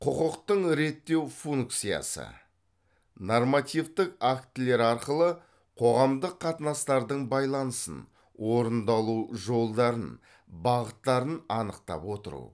құқықтың реттеу функциясы нормативтік актілер арқылы қоғамдық қатынастардың байланысын орындалу жолдарын бағыттарын анықтап отыру